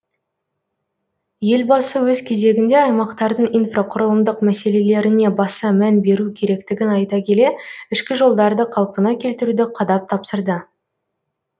елбасы өз кезегінде аймақтардың инфрақұрылымдық мәселелеріне баса мән беру керектігін айта келе ішкі жолдарды қалпына келтіруді қадап тапсырды